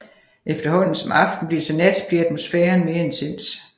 Efterhånden som aften bliver til nat bliver atmosfæren mere intens